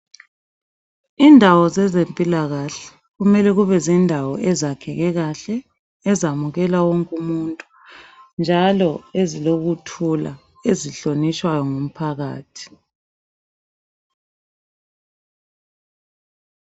Indawo zezempilakahle kumele kube zindawo ezakheke kahle ezamukela wonke umuntu. Njalo ezilokuthula ezihlonitshwayo ngumphakathi.